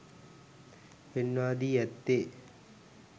පෙන්වා දී ඇත්තේ